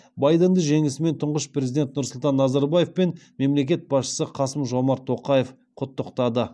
байденді жеңісімен тұңғыш президент нұрсұлтан назарбаев пен мемлекет басшысы қасым жомарт тоқаев құттықтады